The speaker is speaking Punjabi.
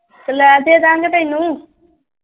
ਲੈ ਦੇ ਦਿਆਂਗੇ ਤੈਨੂੰ।